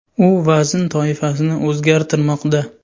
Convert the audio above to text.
U vazn toifasini o‘zgartirmoqda.